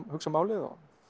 hugsa málið